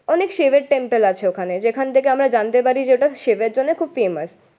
অনেক শিবের টেম্পল আছে ওখানে। যেখান থেকে আমরা জানতে পারি যে ওটা শিবের জন্য খুব ফেমাস